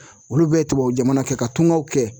Olu bɛ tubabujamana kɛ ka tungaw kɛ